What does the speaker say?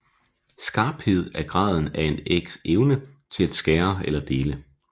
Skarphed er graden af en ægs evne til at skære eller dele